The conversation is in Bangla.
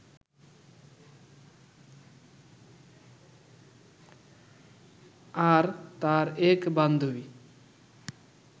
আর তার এক বান্ধবী